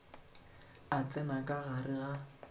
a tsena ka gare ga